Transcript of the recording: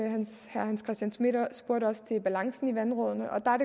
herre hans christian schmidt spurgte også til balancen i vandrådene og der er